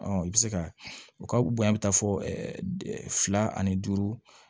i bɛ se ka o ka bonya bɛ taa fɔ fila ani duuru